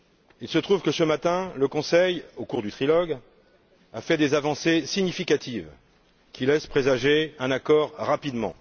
Il se trouve que, ce matin, le Conseil, au cours du trilogue, a fait des avancées significatives qui laissent présager un accord rapide.